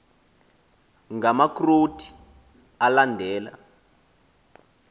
ngama kroti alandela